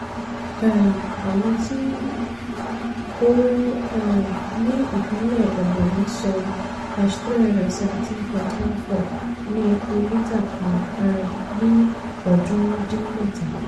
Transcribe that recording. um àwọn tí ó um ní ìpínlẹ̀ ebonyi san # three hundred seventeen point one four ní epo lítà kan um ní ọdúnrún dín mẹ́ta.